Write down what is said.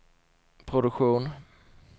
produktion